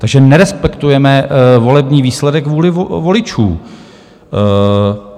Takže nerespektujeme volební výsledek, vůli voličů.